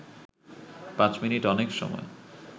পাঁচ মিনিট অনেক সময়